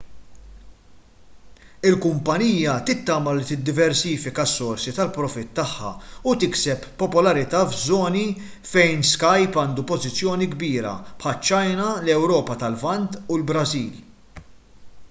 il-kumpanija tittama li tiddiversifika s-sorsi ta' profitt tagħha u tikseb popolarità f'żoni fejn skype għandu pożizzjoni kbira bħaċ-ċina l-ewropa tal-lvant u l-brażil